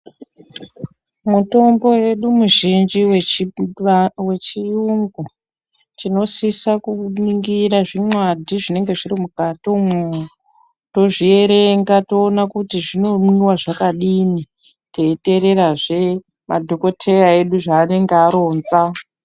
Mutombo yedu muzhinji wechiyungu, tinosisa kuuningira zvinwadhi zvinenge zviri mukati umwo, tozvierenga toona kuti zvinomwiwa zvakadini, teyiteererazve madhokoteya edu zvaanenge aronza.